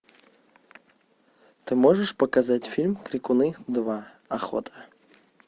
ты можешь показать фильм крикуны два охота